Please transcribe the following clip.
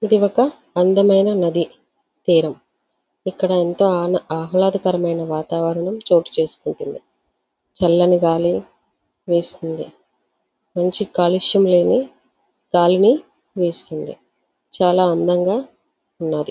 ఇది ఒక అందమైన నది తీరం. ఇక్కడ అంతా ఆహ్లాదకరమైన వాతావరణం చోటు చేసుకుంటుంది.చల్లని గాలి వేస్తుంది. మంచి కాలుష్యం లేని గాలిని వీస్తుంది. చాలా అందంగా ఉన్నాది.